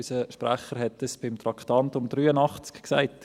Unser Sprecher hat dies beim Traktandum 83 gesagt.